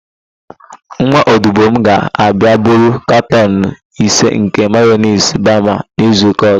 Nwa odibo m ga-abịa buru katọn ise nke mayonis bama n'izuụka ọ̀zọ́.